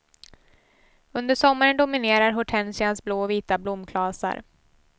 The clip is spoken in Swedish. Under sommaren dominerar hortensians blå och vita blomklasar.